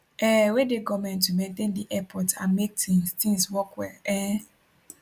um wey dey goment to maintain di airports and make tins tins work well um